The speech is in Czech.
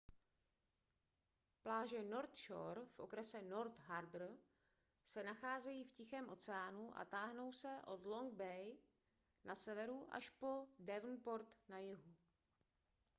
pláže north shore v okrese north harbour se nacházejí v tichém oceánu a táhnou se od long bay na severu až po devonport na jihu